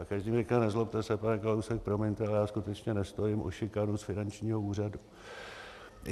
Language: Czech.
A každý mi říká - nezlobte se, pane Kalousek, promiňte, ale já skutečně nestojím o šikanu z finančního úřadu.